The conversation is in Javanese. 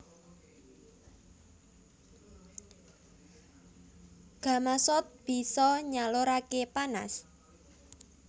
Gamasot bisa nyaluraké panas